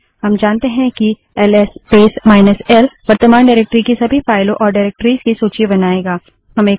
हम जानते हैं कि L S space minus L L S space minus L वर्तमान डाइरेक्टरी की सभी फाइलों और डाइरेक्टरिस निर्देशिकाओं की सूची बनाएगा